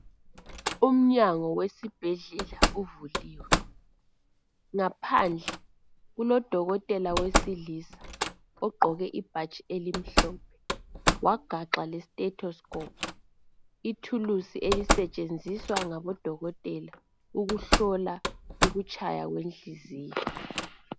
Umnyango wesibhedlela uvuliwe ngaphandle kulodokotela wesilisa ogqoke ibhatshi elimhlophe wagaxa le sithetho sikopu ithulusi elisetshenziswa ngabo dokotela ukuhlola ukutshaya kwenhliziyo.